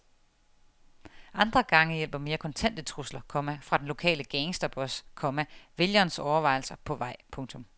Andre gange hjælper mere kontante trusler, komma fra den lokale gangsterboss, komma vælgerens overvejelser på vej. punktum